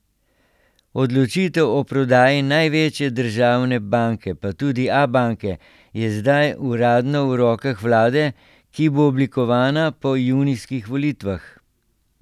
Odločitev o prodaji največje državne banke, pa tudi Abanke, je zdaj uradno v rokah vlade, ki bo oblikovana po junijskih volitvah.